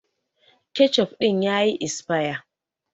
Ketchup din ya yi esaya.